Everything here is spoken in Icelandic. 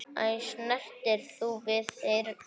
Æ, snertir þú við þyrni?